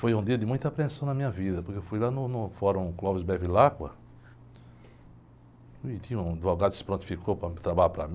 Foi um dia de muita apreensão na minha vida, porque eu fui lá no, no fórum, onde tinha um advogado que se prontificou para trabalhar para mim.